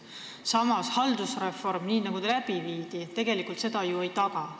Samas, haldusreform, nii nagu see läbi viidi, seda ju ei taga.